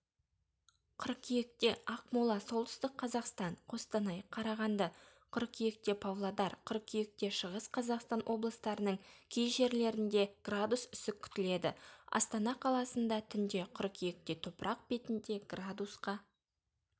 қыркүйектеақмоласолтүстік қазақстан қостанай қарағанды қыркүйектепавлодар қыркүйектешығыс қазақстаноблыстарының кей жерлерінде градус үсіккүтіледі астана қаласындатүнде қыркүйектетопырақ бетінде градусқа